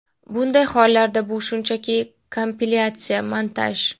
Bunday hollarda bu shunchaki kompilyatsiya, montaj.